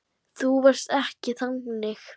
Þú varst ekki þannig.